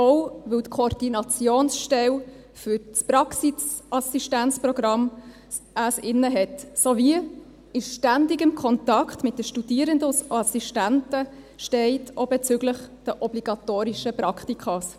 auch, weil es die Koordinationsstelle für das Praxisassistenzprogramm innehat sowie in ständigem Kontakt mit den Studierenden und Assistenten steht, auch bezüglich der obligatorischen Praktika.